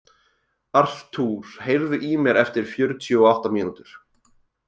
Arthur, heyrðu í mér eftir fjörutíu og átta mínútur.